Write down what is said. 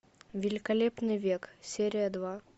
великолепный век серия два